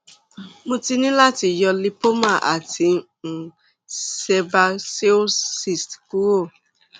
mo ti ní láti yọ lipoma àti um sebaceous cyst kúrò